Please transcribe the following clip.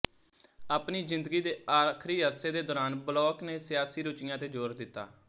ਆਪਣੀ ਜ਼ਿੰਦਗੀ ਦੇ ਆਖ਼ਰੀ ਅਰਸੇ ਦੇ ਦੌਰਾਨ ਬਲੋਕ ਨੇ ਸਿਆਸੀ ਰੁਚੀਆਂ ਤੇ ਜ਼ੋਰ ਦਿੱਤਾ